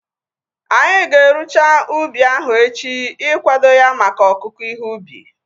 Anyị ga-erucha ubi ahu echi ikwado ya maka ọkụku ihe ubi